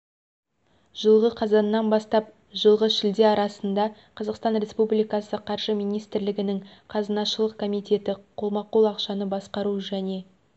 жылғы қазаннан бастап жылғы шілде арасында қазақстан республикасы қаржы министрлігінің қазынашылық комитеті қолма-қол ақшаны басқару және